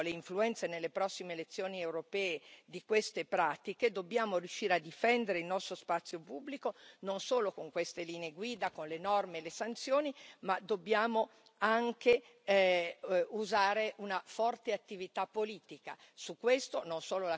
Se noi quindi temiamo le influenze nelle prossime elezioni europee di queste pratiche dobbiamo riuscire a difendere il nostro spazio pubblico non solo con queste linee guida, con le norme e le sanzioni, ma dobbiamo anche usare una forte attività politica.